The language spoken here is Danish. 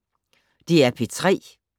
DR P3